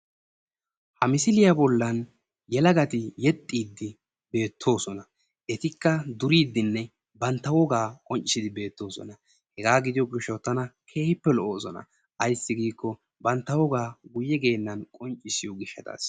Ha misiliya bollan yelagati yexxiidi beettoosona. Etikka duriiddinne bantta wogaa qonccissiiddi beettoosona. Hegaa gidiyo gishshawu tana keehippe lo'oosona. Ayssi giikko bantta wogaa guyye geennan qonccissiyo gishshataasi.